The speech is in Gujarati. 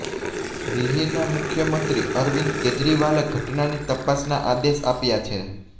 દિલ્હીના મુખ્યમંત્રી અરવિંદ કેજરીવાલે ઘટનાની તપાસના આદેશા આપ્યા છે